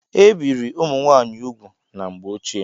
Ebirì ụmụ nwaanyị úgwù na mgbe ochie.